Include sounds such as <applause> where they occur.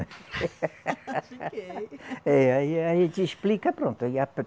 <laughs> É aí a gente explica e pronto.